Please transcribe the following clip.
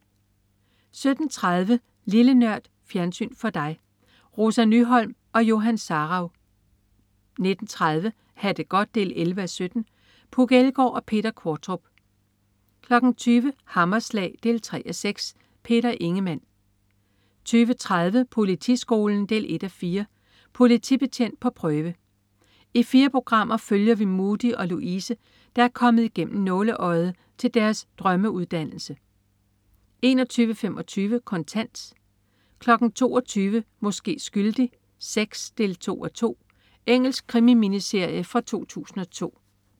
17.30 Lille Nørd. Fjernsyn for dig. Rosa Nyholm og Johan Sarauw 19.30 Ha' det godt 11:17. Puk Elgård og Peter Qvortrup 20.00 Hammerslag 3:6. Peter Ingemann 20.30 Politiskolen 1:4. Politibetjent på prøve. I fire programmer følger vi Mudi og Louise, der er kommet igennem nåleøjet til deres drømmeuddannelse 21.25 Kontant 22.00 Måske skyldig VI 2:2. Engelsk krimi-miniserie fra 2002